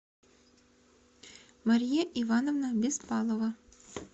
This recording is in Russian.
мария ивановна беспалова